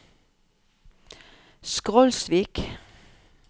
Skrolsvik